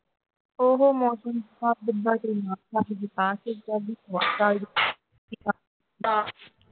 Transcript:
ਉਹ ਮੌਸਮ